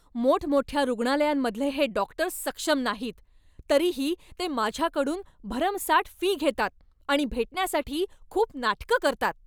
मोठमोठ्या रुग्णालयांमधले हे डॉक्टर सक्षम नाहीत, तरीही ते माझ्याकडून भरमसाठ फी घेतात आणि भेटण्यासाठी खूप नाटकं करतात.